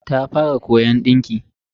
Ta fara koyon dinki.